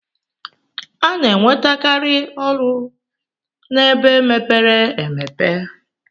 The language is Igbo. Ana enwete kari ọlụ ebe mepere emepe.